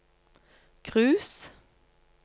cruise